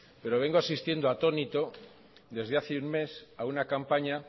pero vengo asistiendo atónito desde hace un mes a una campaña